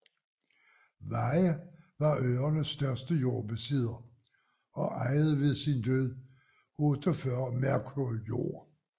Weyhe var øernes største jordbesidder og ejede ved sin død 48 merkur jord